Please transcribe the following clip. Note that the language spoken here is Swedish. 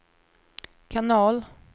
kanal